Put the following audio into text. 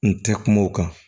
N tɛ kuma o kan